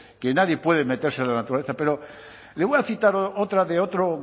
que nadie puede meterse en la naturaleza pero le voy a citar otra de otro